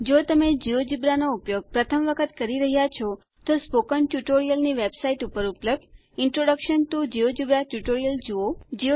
જો તમે જિયોજેબ્રા નો ઉપયોગ પ્રથમ વખત કરી રહ્યા છો તો સ્પોકન ટ્યુટોરીયલની વેબસાઈટ ઉપર ઉપલબ્ધ ઇન્ટ્રોડક્શન ટીઓ જિયોજેબ્રા ટ્યુટોરિયલ જુઓ